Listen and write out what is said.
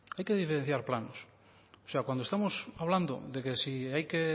hay que diferencias planos o sea cuando estemos hablando de que si hay que